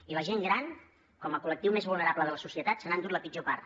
i la gent gran com a col·lectiu més vulnerable de la societat se n’ha endut la pitjor part